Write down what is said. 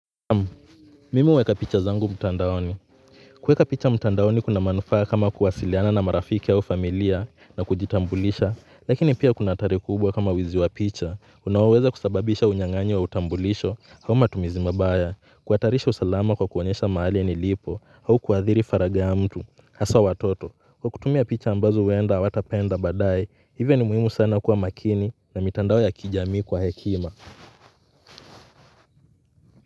Naam, mimi uweka picha zangu mtandaoni. Kueka picha mtandaoni kuna manufaa kama kuwasiliana na marafiki au familia na kujitambulisha, lakini pia kuna hatari kubwa kama wizi wa picha. Unaweza kusababisha unyang'anyi wa utambulisho, au matumizi mabaya, kuatarisha usalama kwa kuonesha maali ya nilipo, hau kuadhiri faraga ya mtu, hasa watoto. Kwa kutumia picha ambazo uenda hawatapenda baada, hivyo ni muhimu sana kuwa makini na mitandao ya kijami kwa hekima.